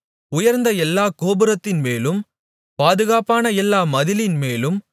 உயர்ந்த எல்லாக் கோபுரத்தின்மேலும் பாதுகாப்பான எல்லா மதிலின்மேலும்